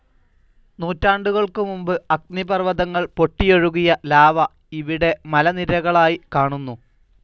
നൂറ്റാണ്ടുകൾക്കു മുൻപ് അഗ്നിപർവ്വതങ്ങൾ പൊട്ടിയൊഴുകിയ ലാവ ഇവിടെ മലനിരകളായി കാണുന്നു.